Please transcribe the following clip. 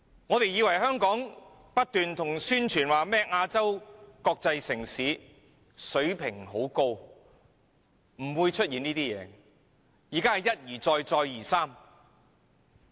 大家以為香港不斷宣傳是亞洲國際城市，擁有很高水平，理應不會出現這些問題，但現在卻一而再、再而三地出現。